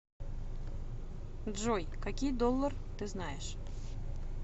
джой какие доллар ты знаешь